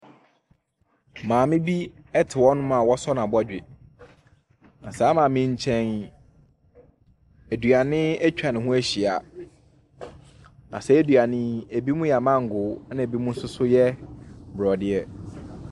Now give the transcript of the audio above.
Maame bi te hɔnom a wasɔ n'abɔdwe. Na saa maame yi nkyɛn yi, aduane atwa ne ho ahyia, na saa aduane yi, ebinom yɛ amango, ɛnna ebinom nso so yɛ borɔdeɛ.